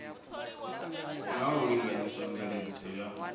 na u linganyisa mveledziso ya